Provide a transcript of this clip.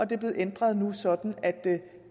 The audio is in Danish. det er blevet ændret nu sådan at